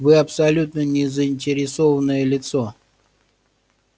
вы абсолютно не заинтересованное лицо